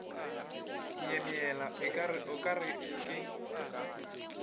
myemyela o ka re ke